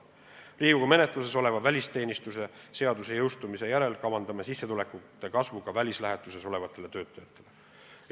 Riigikogu menetluses oleva välisteenistuse seaduse jõustumise järel kavandame tõsta ka välislähetuses olevate töötajate sissetulekut.